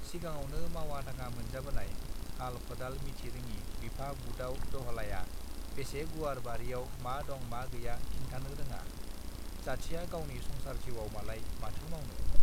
सिगाङावनो मावा दाङा मोनजाबोनाय हाल खदाल मिथिरोङि बिफा बुदाव दहलाया बेसे गुवार बारियाव मा दं मा गैया खिनथाना रोङा जाथिया गावनि संसार जिउआव मालाय माथो मावनो